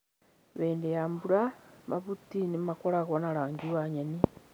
Hĩndĩ ya mbura, mahuti nĩ makoragwo na rangi wa nyeni.